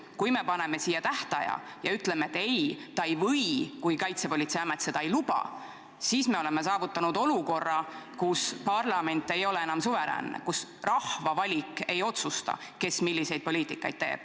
Kui me paneme siia tähtaja ja ütleme, et ei, ta ei või, kui Kaitsepolitseiamet seda ei luba, siis me oleme saavutanud olukorra, kus parlament ei ole enam suveräänne, kus rahva valik ei otsusta, kes millist poliitikat teeb.